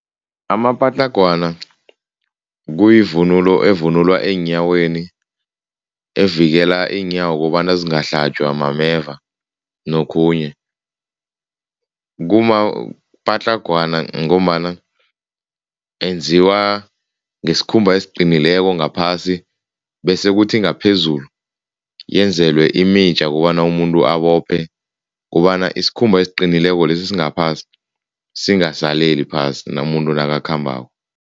Amapatlagwana kuyivunulo evunulwa eenyaweni, evikela iinyawo kobana zingahlatjwa mameva nokhunye. Kumapatlagwana ngombana enziwa ngesikhumba esiqinileko ngaphasi bese kuthi ngaphezulu yenzelwe imitja ukobana umuntu abophe kobana isikhumba esiqinileko lesi esingaphasi, singasaleli phasi umuntu nakakhambako.